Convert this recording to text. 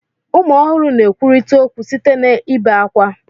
Ụmụ ọhụrụ na-ekwurịta okwu site n'ebe ákwá.